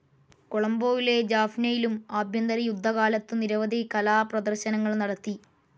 കൊളംബോയിലെ ജാഫ്‌നയിലും ആഭ്യന്തരയുദ്ധ കാലത്തു നിരവധി കലാപ്രേദര്ശനങ്ങൾ നടത്തി.